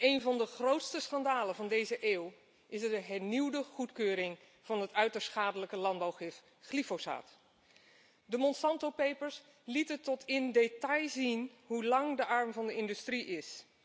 Eén van de grootste schandalen van deze eeuw is de hernieuwde goedkeuring van het uiterst schadelijke landbouwgif glyfosaat. De Monsanto Papers lieten tot in detail zien hoe lang de arm van de industrie is.